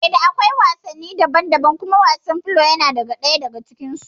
Eh da akwai wasanni daban daban kuma wasan filo yana ɗaya daga cikin su